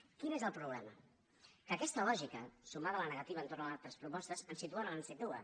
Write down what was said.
quin és el problema que aquesta lògica sumada a la negativa entorn a les nostres propostes ens situa on ens situa